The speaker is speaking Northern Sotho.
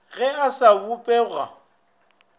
ge a se a bopega